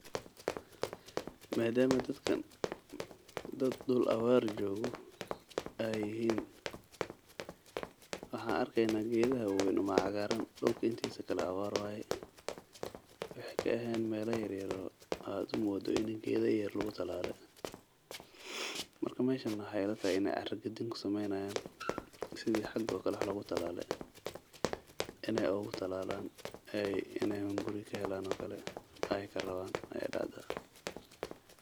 Madama dadka dad dhul awar jog ay yihin, waxan arkeynaa gedaha waweyn un ba cagaran dhulka intisa kale awar waye wixi kaehen mela yaryar oo u modo in getha yaryar lugutalale, marka meshan waxay ilatahay in ay car gadin kusameynayan sidi xaga oo kale wax logutalale in ay ogu talalayin, in ay hunguri kahelan oo kale ay rawan.